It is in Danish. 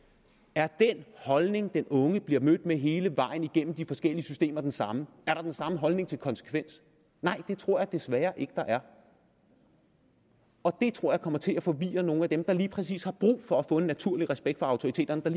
er den holdning den unge bliver mødt med hele vejen igennem de forskellige systemer den samme og er der den samme holdning til konsekvens nej det tror jeg desværre ikke der er og det tror jeg kommer til at forvirre nogle af dem der lige præcis har brug for at få en naturlig respekt for autoriteterne og